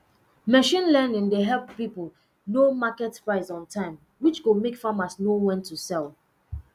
machine learning dey help person know market price on time which go make farmers know when to sell